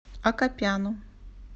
акопяну